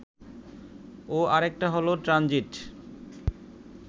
ও আরেকটা হলো ট্রানজিট